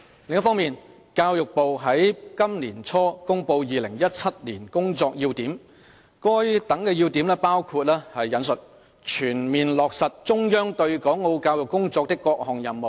另一方面，教育部在本年初公布《2017年工作要點》，該等要點包括"全面落實中央對港澳教育工作的各項任務"。